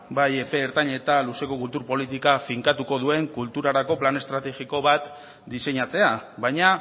bai ertain eta luzeko kultur politika finkatuko duen kulturarako plan estrategiko bat diseinatzea baina